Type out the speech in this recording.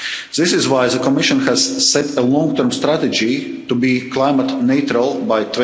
ahead. This is why the Commission has set a long term strategy to be climate neutral